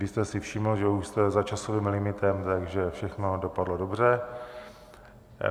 Vy jste si všiml, že už jste za časovým limitem, takže všechno dopadlo dobře.